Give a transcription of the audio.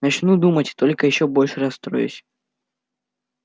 начну думать только ещё больше расстроюсь